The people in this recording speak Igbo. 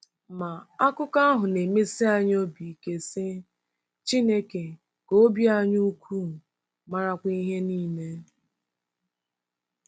Ma, akụkọ ahụ na-emesi anyị obi ike, sị: “Chineke ka obi anyị ukwuu, marakwa ihe niile .”